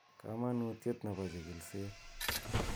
Kamanutiet nebo chikilishet